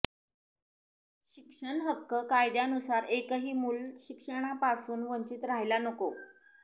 शिक्षण हक्क कायद्यानुसार एकही मूल शिक्षणापासून वंचित राहायला नको